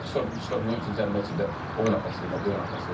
Gəlib üç tərəfindən zərbə üçün də oyuna pas verirlər, bu yana pas verirlər.